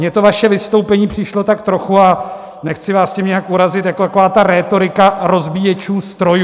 Mně to vaše vystoupení přišlo tak trochu - a nechci vás tím nijak urazit - jako taková ta rétorika rozbíječů strojů.